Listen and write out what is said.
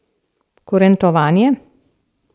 Kurentovanje.